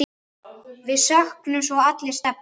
Við söknum svo allir Stebba.